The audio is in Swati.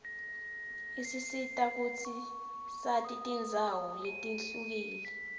isisita kutsi sati tindzawo letihlukile